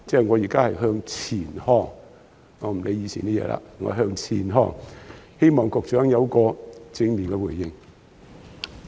我現在是向前看，不理以往的事情了，希望局長會有正面回應。